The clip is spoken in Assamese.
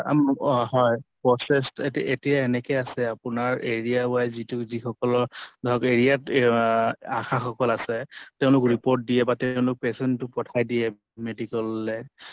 আম অহ হয় এতিয়া এনেকে আছে আপোনাৰ area wise যি সকলৰ ধৰক area ত আহ ASHA সকল আছে তেওঁলোক report দিয়ে বা তেওঁলোক patient তো পঠাই দিয়ে medical লʼলে